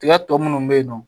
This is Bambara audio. Tiga tɔ munnu bɛ yen nɔ